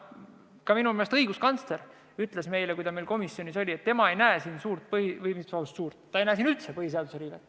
Minu meelest ütles ka õiguskantsler, kui ta meil komisjonis oli, et tema ei näe siin suurt põhiseaduse riivet – või mis suurt, ta ei näe siin üldse põhiseaduse riivet.